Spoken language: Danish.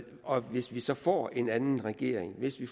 og hvis vi så får en anden regering hvis vi